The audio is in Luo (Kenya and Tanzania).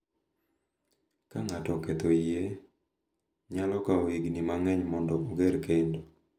Ka ng’ato oketho yie, nyalo kawo higni mang’eny mondo oger kendo,